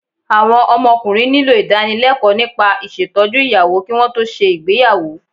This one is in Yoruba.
Àwọn ọmọkùnrin nílò ìdánilẹ́kọ̀ọ́ nípa ìṣètọ́jú ìyàwó kí wọn tó ṣe ìgbéyàwó